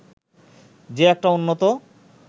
যে একটা উন্নত